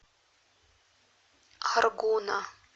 аргуна